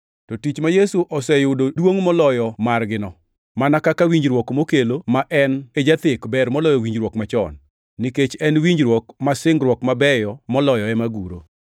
To tich ma Yesu oseyudo duongʼ moloyo margino, mana kaka winjruok mokelo, ma en e jathek ber moloyo winjruok machon, nikech en winjruok ma singruok mabeyo moloyo ema guro.